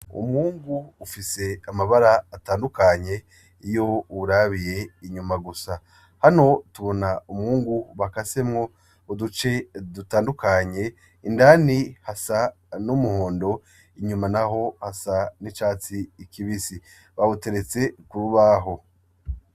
Umwungu ufise mabara atandukanye iyo uwurabiye inyuma gusa, hano tubona umwungu bakasemwo uduce dutandukanye indani hasa n'umuhondo inyuma hasa n'icatsi kibisi bawuteretse kurubaho .